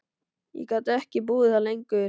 Ég gat ekki búið þar lengur.